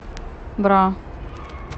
бра